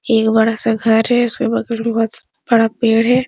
एक बड़ा -सा घर है | उसके बगल में बहुत स बड़ा पेड़ है।